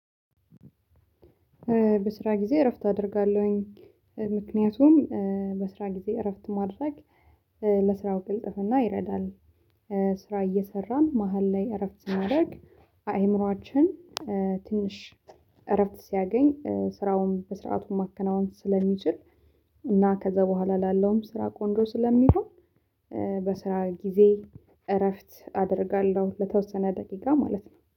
በስራ ጊዜ እረፍት አደርጋለሁኝ ምክንያቱም በስራ ጊዜ እረፍት ማድረግ ለስራው ግልጥፍና ይረዳል ስራ እየሰራን መሃል ላይ እረፍት ማድረግ አእምሮአችን ትንሽ እረፍት ሲያገኝ ስራውን በስርዓቱ ማከናወን ስለሚችል እና ከዛ በኋላ ላለውም ስራ ቆንጆ ስለሚሆን በስራ ጊዜ እረፍት አደርጋለሁ ለተወሰነ ደቂቃ ማለት ነው።